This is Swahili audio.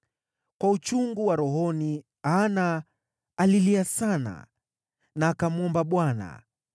Kwa uchungu wa rohoni Hana alilia sana na akamwomba Bwana .